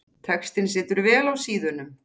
Textinn situr vel á síðum.